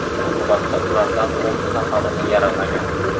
Oqibatda ulardan olti nafarini yaralagan.